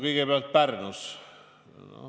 Kõigepealt Pärnu.